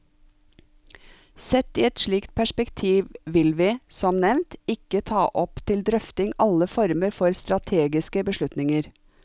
Sett i et slikt perspektiv vil vi, som nevnt, ikke ta opp til drøfting alle former for strategiske beslutninger.